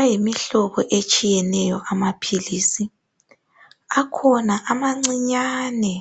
Ayimihlobo etshiyeneyo amaphilisi akhona amancinyane